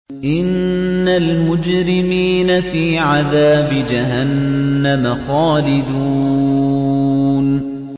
إِنَّ الْمُجْرِمِينَ فِي عَذَابِ جَهَنَّمَ خَالِدُونَ